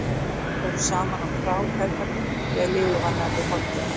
Þeir fóru saman á krá, feðgarnir, þegar liðið var nærri hádegi.